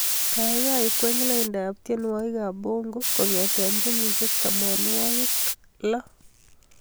Gaigai kwey laindab tyenwogikab bongo kongete kenyishek tamanwogik ak loo